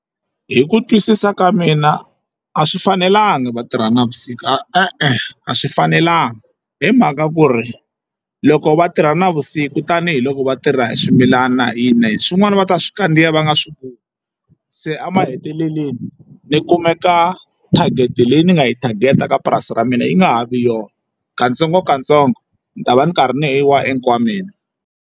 Hi ku twisisa ka mina a swi fanelanga va tirha navusiku, e-e a swi fanelanga hi mhaka ku ri loko va tirha navusiku tanihiloko vatirha hi swimilana na hina hi swin'wana va ta swi kandziya va nga swi voni se a mahetelelweni ni kumeka target leyi ni nga yi target-a ka purasi ra mina yi nga ha vi yona katsongokatsongo ni ta va ni karhi ni wa enkwameni.